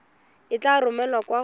e tla romelwa kwa go